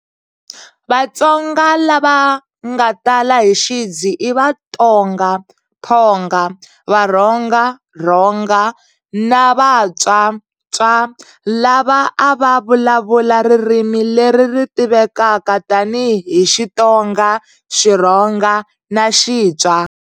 Vatsonga lava nga tala hi xidzi i Vatonga Thonga, Varhonga Ronga, na Vatswa Tswa, lava a va vulavula ririmi leri ri tivekaka tani hi Xitonga, Xirhonga, na Xitswa.